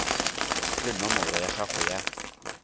le nomoro ya gago ya